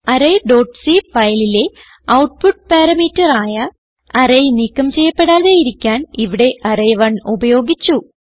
array dot cഫയലിലെ output parameter ആയ array നീക്കം ചെയ്യപ്പെടാതെയിരിക്കാൻ ഇവിടെ അറേ 1 ഉപയോഗിച്ചു